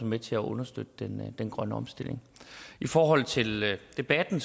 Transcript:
med til at understøtte den grønne omstilling i forhold til debatten